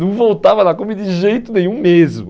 Não voltava na Kombi de jeito nenhum mesmo.